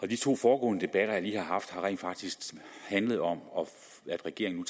de to foregående debatter jeg lige har haft har rent faktisk handlet om at regeringen